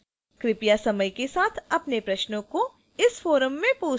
कृपया समय के साथ अपने प्रश्नों को इस forum में post करें